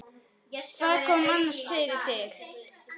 Hvað kom annars fyrir þig?